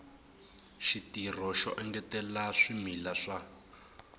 xitirho xo engetela swimila swa